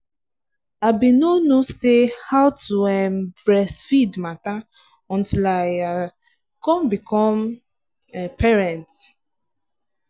i been no no say how to um breastfeed matter until i um come become um parent.